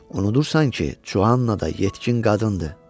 Unudursan ki, Cuanna da yetkin qadındır.